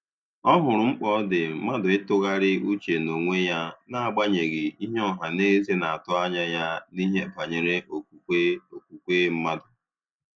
Ọ hụrụ mkpa ọ dị mmadụ ị tụgharịa uche na onwe ya na agbanyeghị ihe ọhaneze na atụ anya ya n'ihe banyere okwukwe okwukwe mmadụ.